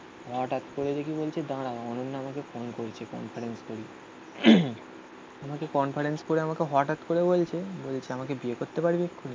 হঠাৎ করে দেখি বলছে দাঁড়াও অনন্যা আমাকে ফোন করেছে ফোন করেন্স করি আমাকে কনফারেন্স করে আমাকে হঠাৎ করে বলছে, বলেছে আমাকে বিয়ে করতে পারবি এক্ষুনি